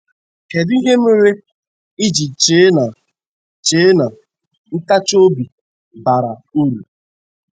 Kedụ ihe mere i ji chee na chee na ntachi obi bara ụrụ?